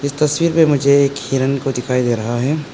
इस तस्वीर में मुझे एक हिरन को दिखाई दे रहा है।